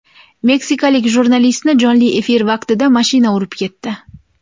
Meksikalik jurnalistni jonli efir vaqtida mashina urib ketdi.